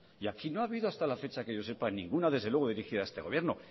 y aquí no ha habido hasta la fecha que yo sepa ninguna dirigida a este gobierno